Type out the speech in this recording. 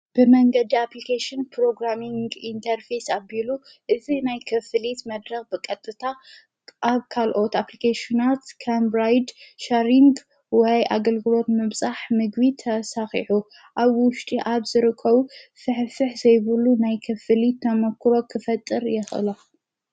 ብመንገዲ ኣፕሊኬሽን ፕሮግራሚንግ ኢንተርፌስ ኣቢሉ እዚ ናይ ክፍሊት መድረኽ ብቐጥታ ኣብ ካልኦት ኣፕሊኬሽናት ከምብራይድ፣ ሻሪንግ ወይ ኣገልግሎት ምብጻሕ ምግቢ ተሳኺዑ ኣብ ውሽጢ ኣብ ዝርከቡ ፍሕፍሕ ዘይብሉ ናይ ክፍሊት ተመክሮ ኽፈጥር የኸእሎ።